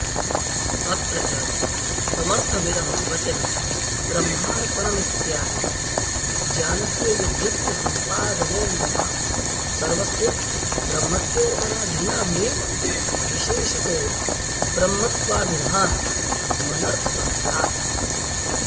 अत्र च समर्थमिदं वचनं ब्रह्मार्पणमित्यादि ज्ञानस्य यज्ञत्वसंपादनेऽन्यथा सर्वस्य ब्रह्मत्वेऽर्पणादीनामेव विशेषतो ब्रह्मत्वाभिधानमनर्थकंस्यात्